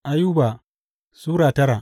Ayuba Sura tara